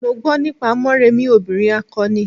Mo gbo nípa Morèmi obìrin akọni.